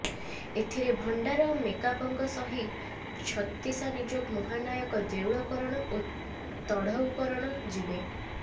ଏଥିରେ ଭଣ୍ଡାର ମେକାପଙ୍କ ସହି ଛତିଶାନିଯୋଗ ମହାନାୟକ ଦେଉଳକରଣ ଓ ତଢ଼ଉକରଣ ଯିବେ